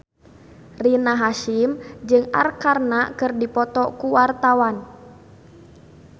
Rina Hasyim jeung Arkarna keur dipoto ku wartawan